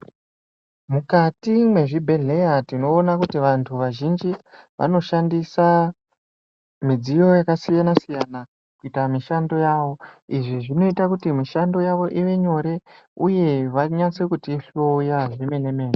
Mukati mwezvibhedhlera tinoona kuti vantu vazhinji vanoshandisa midziyo yakasiyana siyana kuita mishando yawo izvi zvinoita kuti mishando yavo ive nyore uye vanyatse kutihloya zvemene mene.